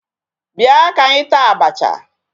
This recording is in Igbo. Bịa ka anyị taa abacha.